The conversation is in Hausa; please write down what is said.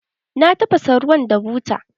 Ta tafasa ruwan da buta.